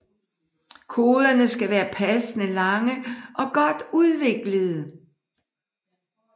Koderne skal være passende lange og godt udviklede